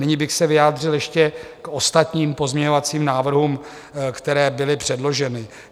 Nyní bych se vyjádřil ještě k ostatním pozměňovacím návrhům, které byly předloženy.